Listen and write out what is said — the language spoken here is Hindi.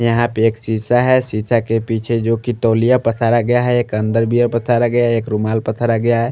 यहां पे एक शिशा है शिशा के पीछे जोकि तोलिया पसारा गया है एक अंडरबियर पसारा गया एक रुमाल पसारा गया है।